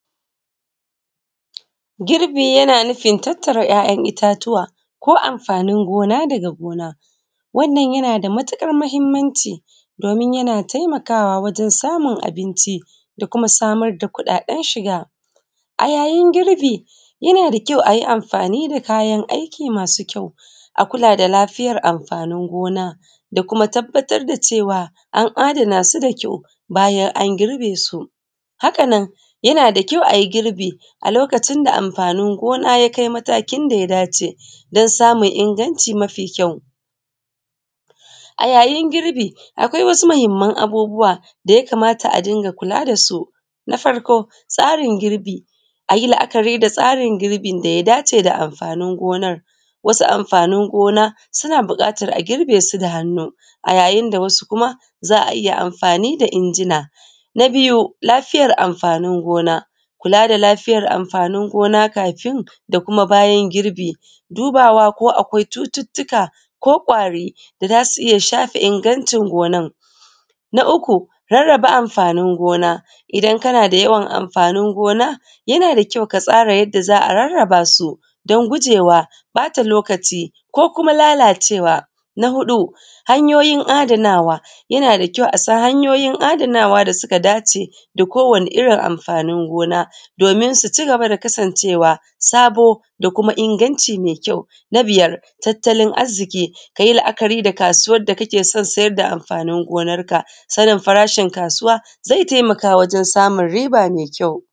Girbi yana nufin tattara ‘ya’ ‘yan’ ittatuwa ko amfanin gona daga gona, wannan yana nada matuƙar mahimmanci domin yana taimakawa wajen samun abinci da kuma samar da kuɗaɗen shiga. A yayin girbi yana da kyau ayi amfani da kayan aiki masu kyau, a kula da lafiyar amfanin gona da kuma tabbatar da cewa an adana su da kyau bayan an girbe su. Hakanan yana da kyau ayi girbi a lokacin da mafanin gona yakai matakin daya dace dan samun inganci mafi kyau. A yayin girbi akwai wasu mahimman abubuwa daya kamata a dunga kula dasu. Na farko tsarin girbi ayi la’akari da tsarin girbin daya dace da amfanin gonan, wasu amfanin gona suna buƙatan agirbe su da hannu, a yayinda wasu kuma za’a iyya girbe su da injina. Na biyu lafiyar amfanin gona kula da lafiyar amfanin gona ksfin ds kums bayan girbi, dubawa ko kwai cututtuka ko kwari da zasu iyya shafe ingancin gonan. Na uku rarraba mafanin gona idan kana da yawan amfanin gona yana da kyau ka rarraba su dan gujewa ɓata lokaci ko kuma lalacewa. Na huɗu hanyoyin adanawa yanada kyau a san hanyoyin adanawa da suka dace dako wani irrin amfanin gona domin su cigaba da kasan cewa sabo da kuma inganci mai kyau. Na biyar tattalin arziƙi kayi la’akari da kasuwan da kakeson saida amfanin gonar ka sanin farashin kasuwa zai taimaka wajen samun riba mai kyau.